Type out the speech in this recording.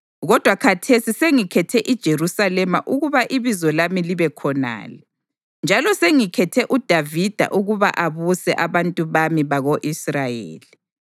Kodwa khathesi sengikhethe iJerusalema ukuba iBizo lami libe khonale, njalo sengikhethe uDavida ukuba abuse abantu bami bako-Israyeli.’